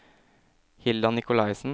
Hilda Nicolaisen